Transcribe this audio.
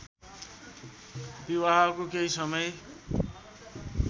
विवाहको केही समय